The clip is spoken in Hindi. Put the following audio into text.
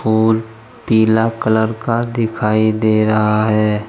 पोल पीला कलर का दिखाई दे रहा है।